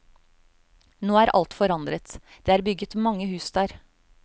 Nå er alt forandret, det er bygget mange hus der.